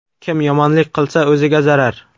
Kim yomonlik qilsa, o‘ziga zarar.